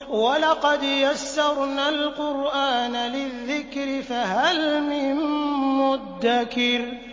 وَلَقَدْ يَسَّرْنَا الْقُرْآنَ لِلذِّكْرِ فَهَلْ مِن مُّدَّكِرٍ